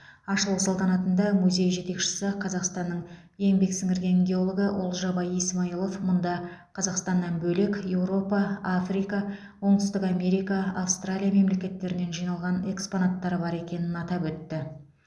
ашылу салтанатында музей жетекшісі қазақстанның еңбек сіңірген геологы олжабай исмаилов мұнда қазақстаннан бөлек еуропа африка оңтүстік америка австралия мемлекеттерінен жиналған экспонаттар бар екенін атап өтті